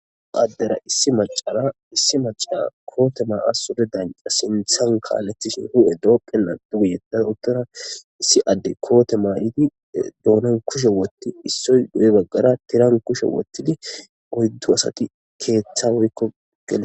Adera issi maccara issi macciya koote maaya suure dancca sinththan kallesishin hu'ee doqqenan biittan uttada issi addey koote mayidi doonan kushshe wotti issoy guyye baggara tiiran kushshe woththidi oyddu asti keththa woykko gellishe.....